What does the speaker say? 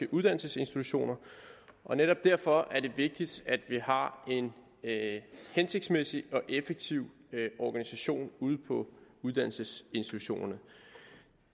uddannelsesinstitutioner og netop derfor er det vigtigt at vi har en hensigtsmæssig og effektiv organisation ude på uddannelsesinstitutionerne